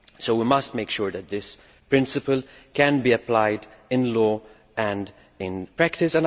We must make sure that this principle can be applied in law and in practice.